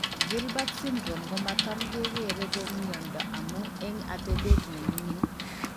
Gilbert syndrome komatam kekeree ko miondo amun eng' atebet nemingin